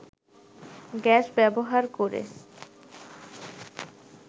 gas ব্যবহার করে